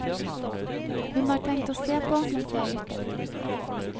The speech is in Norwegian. Hun har tenkt å se på mens jeg lytter.